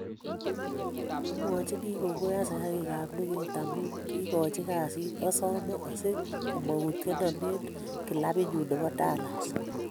Amwachini kongoi asikarikab luget amun kiigochi kasiit, asome si komoutienon en kilabinyun nebo Dallas